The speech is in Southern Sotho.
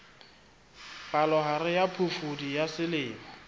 palohare ya phofudi ya selemo